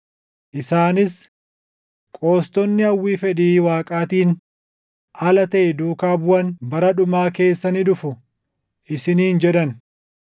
Isaanis, “Qoostonni hawwii fedhii Waaqaatiin ala taʼe duukaa buʼan bara dhumaa keessa ni dhufu” isiniin jedhan.